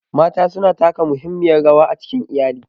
Mata suna taka muhimmiyar rawa a cikin iyali.